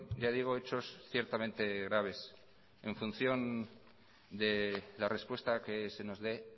ya digo hechos ciertamente graves en función de la respuesta que se nos dé